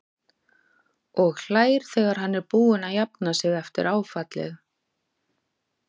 Og hlær þegar hann er búinn að jafna sig eftir áfallið.